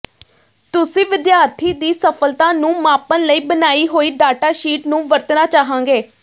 ਤੁਸੀਂ ਵਿਦਿਆਰਥੀ ਦੀ ਸਫਲਤਾ ਨੂੰ ਮਾਪਣ ਲਈ ਬਣਾਈ ਹੋਈ ਡਾਟਾ ਸ਼ੀਟ ਨੂੰ ਵਰਤਣਾ ਚਾਹਾਂਗੇ